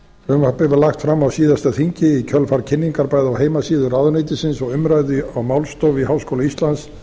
frumvarpið var lagt fram á síðasta þingi í kjölfar kynningar bæði á heimasíðu ráðuneytisins og umræðu á málstofu í háskóla íslands